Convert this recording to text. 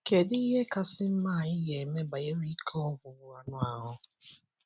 Kedụ ihe kasị mma anyị ga eme banyere ike ọgwụgwụ anụ ahụ́?